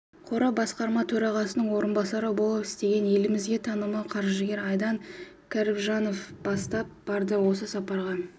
қоры басқарма төрағасының орынбасары болып істеген елімізге танымал қаржыгер айдан кәрібжанов бастап барды осы сапарға